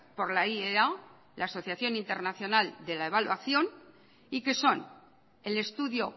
por la iea asociación internacional de la evaluación y que son el estudio